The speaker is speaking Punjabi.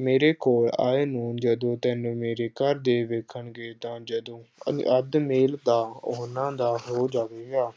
ਮੇਰੇ ਕੋਲ ਆਏ ਨੂੰ ਜਦੋਂ ਤੈਨੂੰ ਮੇਰੇ ਘਰਦੇ ਵੇਖਣਗੇ ਤਾਂ ਜਦੋਂ ਅਹ ਅੱਧ ਮੇਲ ਤਾਂ ਉਹਨਾਂ ਦਾ ਹੋ ਜਾਵੇਗਾ।